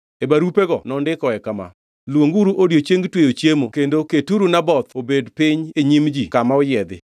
E barupego nondikoe kama: “Luonguru odiechieng tweyo chiemo kendo keturu Naboth obed piny e nyim ji kama oyiedhi.